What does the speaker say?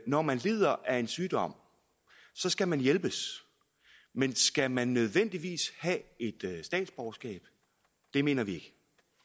når man lider af en sygdom skal man hjælpes men skal man nødvendigvis have et statsborgerskab det mener vi ikke